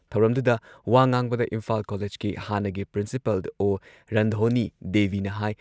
ꯊꯧꯔꯝꯗꯨꯗ ꯋꯥꯥ ꯉꯥꯡꯕꯗ ꯏꯝꯐꯥꯜ ꯀꯣꯂꯦꯖꯀꯤ ꯍꯥꯟꯅꯒꯤ ꯄ꯭ꯔꯤꯟꯁꯤꯄꯜ ꯑꯣ. ꯔꯟꯙꯣꯅꯤ ꯗꯦꯕꯤꯅ ꯍꯥꯏ